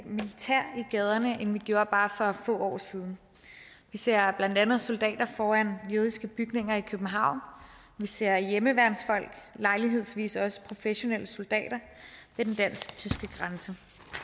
gaderne end vi gjorde bare for få år siden vi ser blandt andet soldater foran jødiske bygninger i københavn og vi ser hjemmeværnsfolk og lejlighedsvis også professionelle soldater ved den dansk tyske grænse